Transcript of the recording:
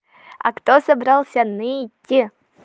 а кто собрался ныть